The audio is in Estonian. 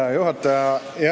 Hea juhataja!